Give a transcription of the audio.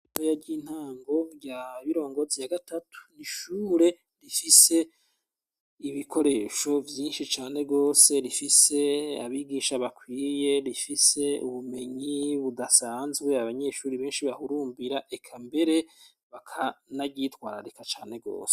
Ishure ry'intango rya birongozi ya gatatu ni ishure rifise ibikoresho vyinshi cane gose rifise abigisha bakwiye rifise ubumenyi budasanzwe abanyeshuri benshi bahurumbira eka mbere bakanaryitwararika cane gose.